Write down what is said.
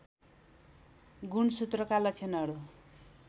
गुणसूत्रका लक्षणहरू